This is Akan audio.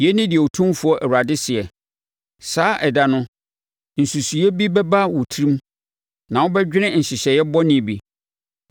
“ ‘Yei ne deɛ Otumfoɔ Awurade seɛ: Saa ɛda no, nsusuiɛ bi bɛba wo tirim na wobɛdwene nhyehyɛeɛ bɔne bi.